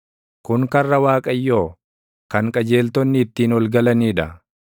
Kun karra Waaqayyoo, kan qajeeltonni ittiin ol galanii dha.